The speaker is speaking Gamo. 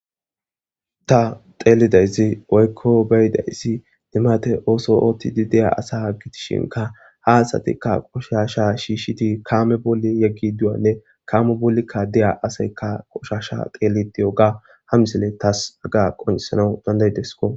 ta xeelidayssi oykko beyidayssi dimate ooso oottidi deya asa gitishinka haasatikka qoshasha shiishshiti kaame boli yeggi duwanne kaame bolikka deya asaykka qoshasha xeeli diyoga ha misile taas aga qoncisanau dandayidesko